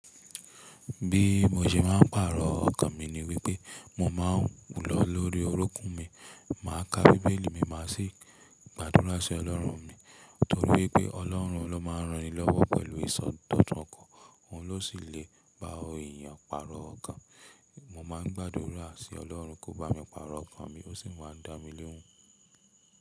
Bí mo ṣe máa ń pàrọ̀ ọkàn mi ni wípé mo máa ń wù lọ lórí orókún mi, màá ka Bíbélì mi, màá sì gbàdúrà sí Ọlọ́run mi, torí wípé Ọlọ́run ló máa ń ran ni lọ́wọ́ pẹ̀lú ìsọ̀tọ̀tọ̀ kan, òun ló sì le bá òhùn èèyàn pàrọ̀ ọkàn. Mo máa ń gbàdúrà sí Ọlọ́run kó bá mi pàrọ̀ ọkàn mi, ó sì máa ń dá mi lohun.